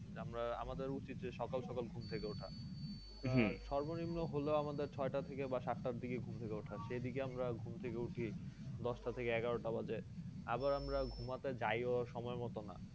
আমরা আমাদের উচিত যে সকাল সকাল ঘুম থেকে উঠা সর্বনিম্ন হলেও আমাদের ছয় টা থেকে বা সাত টার দিকে ঘুম থেকে ওঠা সেইদিকে আমরা ঘুম থেকে উঠি দশ টা থেকে এগারো টা বাজে আবার আমরা ঘুমাতে যাই ও সময় মতো না